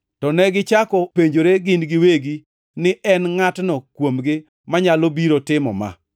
To negichako penjoree gin giwegi ni en ngʼatno kuomgi manyalo biro timo ma.